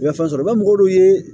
U bɛ fɛn sɔrɔ nka mɔgɔ dɔw ye